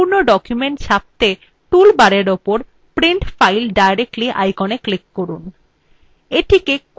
এখন সম্পূর্ণ document ছাপত়ে tool bar উপর print file directly icon click করুন